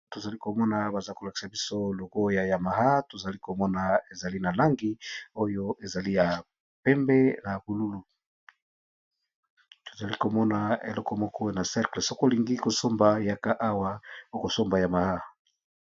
Tozali komona baza kolakisa biso logoya ya maha tozali komona ezali na langi oyo ezali ya pembe na bululu tozali komona eleko moko na cercle soko lingi kosomba yaka awa okosomba yamaha.